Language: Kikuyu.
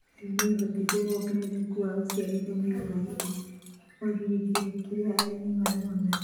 ũũ nĩ ũhotithĩtie wongerereku wa ũciarithania wa irio, kũagĩrithia kĩrĩa arĩmi marona.